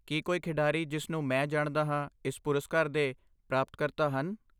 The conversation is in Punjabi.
ਕੀ ਕੋਈ ਖਿਡਾਰੀ ਜਿਸ ਨੂੰ ਮੈਂ ਜਾਣਦਾ ਹਾਂ ਇਸ ਪੁਰਸਕਾਰ ਦੇ ਪ੍ਰਾਪਤਕਰਤਾ ਹਨ?